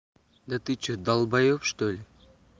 да ты что долбаёб что ли